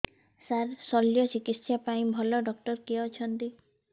ସାର ଶଲ୍ୟଚିକିତ୍ସା ପାଇଁ ଭଲ ଡକ୍ଟର କିଏ ଅଛନ୍ତି